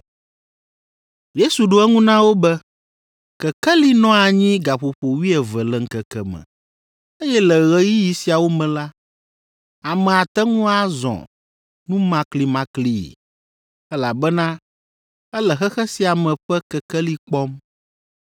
Yesu ɖo eŋu na wo be, “Kekeli nɔa anyi gaƒoƒo wuieve le ŋkeke me, eye le ɣeyiɣi siawo me la, ame ate ŋu azɔ numaklimaklii, elabena ele xexe sia me ƒe kekeli kpɔm.